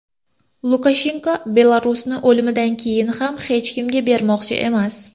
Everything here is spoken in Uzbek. Lukashenko Belarusni o‘limidan keyin ham hech kimga bermoqchi emas.